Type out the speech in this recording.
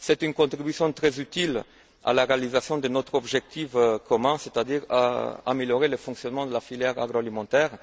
C'est une contribution très utile à la réalisation de notre objectif commun, à savoir améliorer le fonctionnement de la filière agroalimentaire.